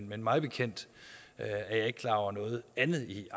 men mig bekendt er jeg ikke klar over noget andet i